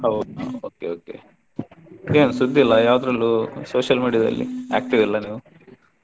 ಹೌದಾ okay okay ಏನು ಸುದ್ದಿ ಇಲ್ಲಾ ಯಾವದ್ರಲ್ಲು social media ದಲ್ಲಿ active ಇಲ್ಲ ನೀವು.